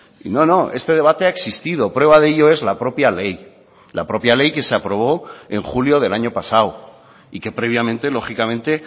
y no no este debate ha existido prueba de ello es la propia ley la propia ley que se aprobó en julio del año pasado y que previamente lógicamente